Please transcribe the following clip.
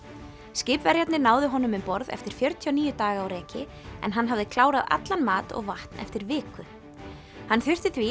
skipverjarnir náðu honum um borð eftir fjörutíu og níu daga á reki en hann hafði klárað allan mat og vatn eftir viku hann þurfti því